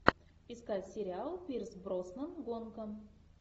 искать сериал пирс броснан гонка